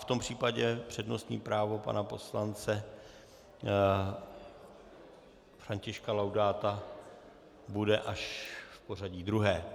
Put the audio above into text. V tom případě přednostní právo pana poslance Františka Laudáta bude až v pořadí druhé.